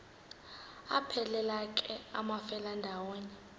aphelela ke amafelandawonye